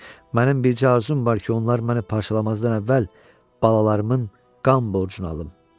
Mənim bircə arzum var ki, onlar məni parçalamazdan əvvəl balalarımın qan borcunu alım.